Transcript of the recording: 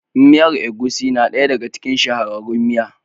Miyan Agushi na ɗaya ɗaga cikin shahararrun miya.